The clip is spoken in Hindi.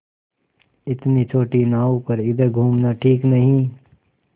इतनी छोटी नाव पर इधर घूमना ठीक नहीं